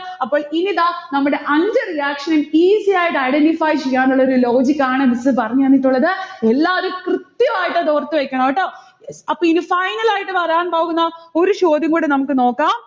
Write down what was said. അപ്പോൾ ഇനി ദാ നമ്മൾടെ അഞ്ചു reaction ഉം easy ആയിട്ട് identify ചെയ്യാനുള്ളൊരു logic ആണ് miss പറഞ്ഞുതന്നിട്ടുള്ളത്. എല്ലാരും കൃത്യമായിട്ട് അത് ഓർത്തു വെക്കണം ട്ടൊ. അപ്പൊ ഇനി final ആയിട്ട് വരാൻ പോകുന്ന ഒരു ചോദ്യം കൂടെ നമ്മുക്ക് നോക്കാം.